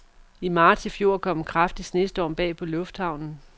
I marts i fjor kom en kraftig snestorm bag på lufthavnen.